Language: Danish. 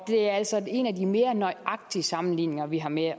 er altså en af de mere nøjagtige sammenligninger vi har med at